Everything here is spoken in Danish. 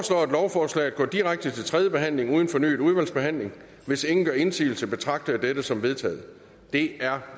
lovforslaget går direkte til tredje behandling uden fornyet udvalgsbehandling hvis ingen gør indsigelse betragter jeg dette som vedtaget det er